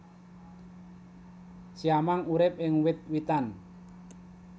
Siamang urip ing wit witan